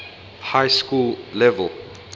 high school level